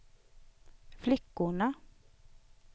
flickorna